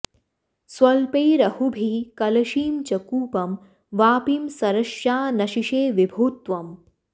स्वल्पैरहोभिः कलशीं च कूपं वापीं सरश्चानशिषे विभो त्वम्